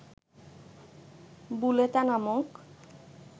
বুলেতা নামক